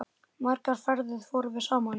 Margar ferðir fórum við saman.